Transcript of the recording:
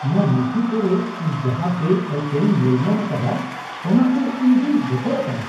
ᱱᱚᱶᱟ ᱱᱩᱛᱷᱤ ᱠᱚᱨᱮ ᱤᱧ ᱡᱟᱦᱟᱸ ᱵᱮᱼᱟᱹᱤᱪᱟᱹᱨᱤᱧ ᱧᱮᱞᱧᱟᱢ ᱟᱠᱟᱫᱼᱟ, ᱚᱱᱟ ᱛᱮ ᱤᱧ ᱫᱚᱧ ᱵᱚᱛᱚᱨ ᱟᱠᱟᱱᱟ ᱾